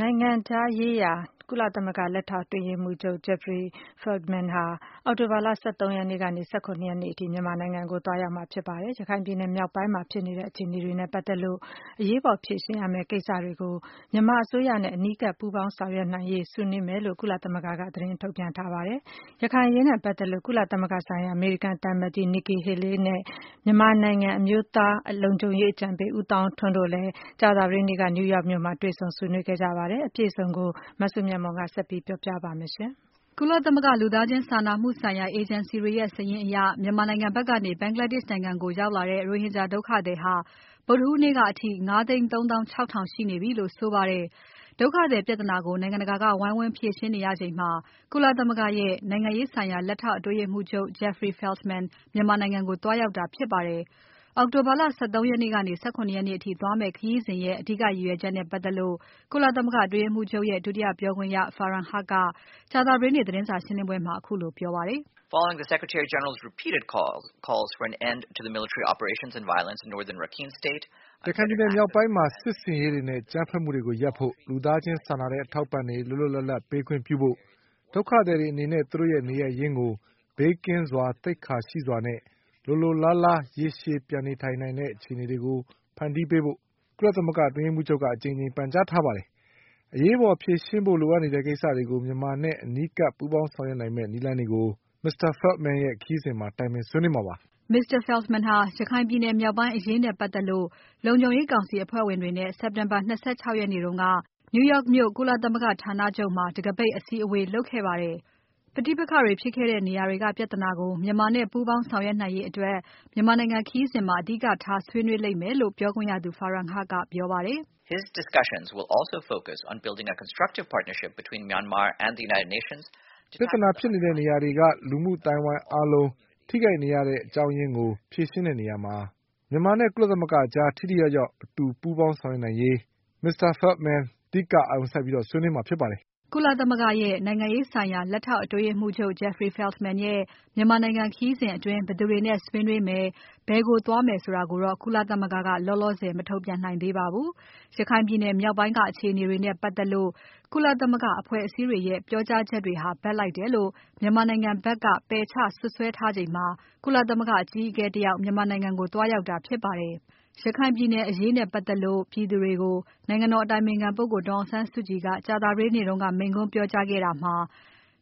နိုင်ငံရေးရာ ကုလသမဂ္ဂ လက်ထောက်အတွင်းရေးမှူးချုပ် Jeffrey Feltman ဟာ အောက်တိုဘာလ ၁၃ ရက်နေ့ကနေ ၁၇ ရက်နေ့အထိ မြန်မာနိုင်ငံကို သွားရောက်မှာဖြစ်ပါတယ်။ ရခိုင်ပြည်နယ်မြောက်ပိုင်းမှာ ဖြစ်နေတဲ့ အခြေအနေတွေနဲ့ပတ်သက်လို့ အရေးပေါ်ဖြေရှင်းရမယ့်ကိစ္စတွေကို မြန်မာအစိုးရနဲ့ အနီးကပ်ပူးပေါင်းဆောင်ရွက်နိုင်ရေး ဆွေးနွေးမယ်လို့ ကုလသမဂ္ဂက သတင်းထုတ်ပြန်ပါတယ်။ ရခိုင်အရေးနဲ့ပတ်သက်လို့ ကုလသမဂ္ဂဆိုင်ရာ အမေရိကန်သံအမတ်ကြီး Nikki Haley နဲ့ မြန်မာနိုင်ငံ အမျိုးသားလုံခြုံရေးအကြံပေး ဦးသောင်းထွန်းတို့လည်း ကြာသပတေးနေ့က New York မြို့မှာတွေ့ဆုံဆွေးနွေးခဲ့ကြပါတယ်။ အပြည့်အစုံကို မစုမြတ်မွန်က ဆက်ပြီးတင်ပြပါမယ်။ ကုလသမဂ္ဂလူသားချင်းစာနာမှုဆိုင်ရာ အေဂျင်စီတွေရဲ့စာရင်းအရ မြန်မာနိုင်ငံဖက်ကနေ ဘင်္ဂလားဒေ့ရှ်နိုင်ငံကိုရောက်လာတဲ့ ရိုဟင်ဂျာဒုက္ခသည်ဟာ ဗုဒ္ဓဟူးနေ့ကအထိ ၅ သိန်း ၃ သောင်း ၆ ထောင်ရှိနေပြီလို့ ဆိုပါတယ်။ ဒုက္ခသည်ပြဿနာကို နိုင်ငံတကာကဝိုင်းဝန်းဖြေရှင်းနေရချိန်မှာ ကုလသမဂ္ဂရဲ့ နိုင်ငံရေးဆိုင်ရာလက်ထောက် အတွင်းရေးမှူးချုပ် Jeffrey Feltman မြန်မာနိုင်ငံကို သွားရောက်တာဖြစ်ပါတယ်။ အောက်တိုဘာလ ၁၃ ရက်ကနေ ၁၇ ရက်နေ့အထိသွားမယ့်ခရီးစဉ်ရဲ့ အဓိကရည်ရွယ်ချက်နဲ့ပတ်သက်လို့ ကုလသမဂ္ဂအတွင်းရေးမှူးချုပ်ရဲ့ ဒုတိယပြောခွင့်ရ Farhan Haq က ကြာသပတေးနေ့ သတင်းစာရှင်းပွဲမှာ ခုလိုပြောပါတယ်။ "ရခိုင်ပြည်နယ်မြောက်ပိုင်းမှာ စစ်ဆင်ရေးတွေနဲ့ အကြမ်းဖက်မှုတွေရပ်ဖို့။ လူသားချင်းစာနာတဲ့ အထောက်အပံ့တွေ လွတ်လွတ်လပ်လပ် ပေးခွင့်ပြုဖို့။ ဒုက္ခသည်တွေအနေနဲ့ သူတို့ရဲ့ နေရပ်ရင်းကို ဘေးကင်းစွာ။ သိက္ခာရှိရှိနဲ့ လိုလိုလားလား ရေရှည်ပြန်နေထိုင်နိုင်တဲ့ အခြေအနေတွေဖန်တီးနိုင်ဖို့ ကုလသမဂ္ဂ အတွင်းရေးမှူးချုပ်က အကြိမ်ကြိမ်ပန်ကြားထားပါတယ်။ အရေးပေါ် ဖြေရှင်းဖို့လိုအပ်နေတဲ့ ဒီကိစ္စတွေကို မြန်မာနဲ့ အနီးကပ် ပူးပေါင်းဆောင်ရွက်နိုင်မယ့် နည်းလမ်းတွေကို Mr. Feltman ရဲ့ခရီးစဉ်မှာ တိုင်ပင်ဆွေးနွေးမှာဖြစ်ပါတယ်။" Mr. Feltman ဟာ ရခိုင်ပြည်နယ်မြောက်ပိုင်းအရေးနဲ့ပတ်သက်လို့ လုံခြုံရေးကောင်စီအဖွဲ့ဝင်နိုင်ငံတွေနဲ့ စက်တက်ဘာ ၂၆ ရက်နေ့က New York မြို့ ကုလသမဂ္ဂဌာနချုပ်မှာ တခါးပိတ် အစည်းအဝေးလုပ်ခဲ့ပါတယ်။ ပဋိပက္ခတွေဖြစ်ခဲ့တဲ့နေရာတွေက ပြဿနာကို မြန်မာနဲ့ပူးပေါင်းဆောင်ရွက်ရေးအတွက် မြန်မာနိုင်ငံခရီးစဉ်မှာ အဓိကထားဆွေးနွေးလိမ့်မယ်လို့ ပြောခွင့်ရသူ Farhan Haq ကပြောပါတယ်။ "ပြဿနာဖြစ်နေတဲ့နေရာတွေက လူမှုအသိုင်းအဝိုင်းအားလုံး ထိခိုက်နေရတဲ့ အကြောင်းအရင်းကို ဖြေရှင်းတဲ့နေရာမှာ မြန်မာနဲ့ ကုလသမဂ္ဂကြား ထိထိရောက်ရောက် အတူတွဲဆောင်ရွက်နိုင်ရေးကို Mr. Feltman ကအဓိကအာရုံစိုက် ဆွေးနွေးမှာဖြစ်ပါတယ်။" ကုလသမဂ္ဂရဲ့ နိုင်ငံရေးဆိုင်ရာလက်ထောက် အတွင်းရေးမှူးချုပ် Jeffrey Feltman ရဲ့မြန်မာနိုင်ငံခရီးစဉ်အတွင်း ဘယ်သူတွေနဲ့ ဆွေးနွေးမယ်၊ဘယ်ကိုသွားမယ်ဆိုတာကိုတော့ ကုလသမဂ္ဂက လောလောဆယ် မထုတ်ပြန်နိုင်သေးပါဘူး။ ရခိုင်ပြည်နယ်မြောက်ပိုင်းက အခြေအနေတွေနဲ့ပတ်သက်လို့ ကုလသမဂ္ဂအဖွဲ့အစည်းတွေရဲ့ ပြောကြားချက်တွေဟာ ဘက်လိုက်တယ်လို့ မြန်မာနိုင်ငံဖက်က ပယ်ချစွပ်စွဲထားချိန်မှာ ကုလသမဂ္ဂအကြီးအကဲတယောက် မြန်မာနိုင်ငံကို သွားရောက်တာဖြစ်ပါတယ်။ ရခိုင်ပြည်နယ်အရေးနဲ့ပတ်သက်လို့ ပြည်သူတွေကို နိုင်ငံတော်အတိုင်ပင်ခံ ဒေါ်အောင်ဆန်းစုကြည် ကြာသပတေးနေ့က မိန့်ခွန်းပြောကြားခဲ့တာမှာ